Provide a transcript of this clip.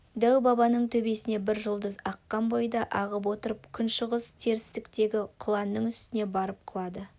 дәу-бабаның төбесінен бір жұлдыз аққан бойда ағып отырып күншығыс-терістіктегі құланның үстіне барып құлады